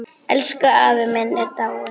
Elsku afi minn er dáinn.